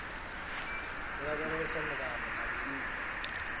u lavhelesa milayo na vhuimo